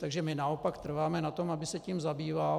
Takže my naopak trváme na tom, aby se tím zabýval.